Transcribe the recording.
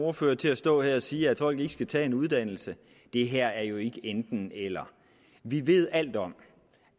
ordfører til at stå her og sige at folk ikke skal tage en uddannelse det her er jo ikke et enten eller vi ved alt om